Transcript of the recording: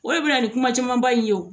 O de bɛ na ni kuma camanba in ye o